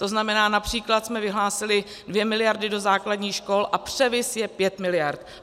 To znamená, například jsme vyhlásili 2 miliardy do základní škol a převis je 5 miliard.